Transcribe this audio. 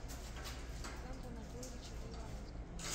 александра анатольевича гайворонского